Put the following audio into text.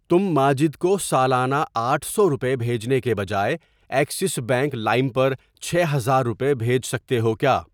تم ماجد کو سالانہ آٹھ سو روپے بھیجنے کے بجائے ایکسس بینک لائم پر چھ ہزار روپے بھیج سکتے ہو کیا؟